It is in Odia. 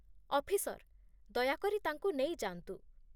ଅଫିସର, ଦୟାକରି ତାଙ୍କୁ ନେଇଯାଆନ୍ତୁ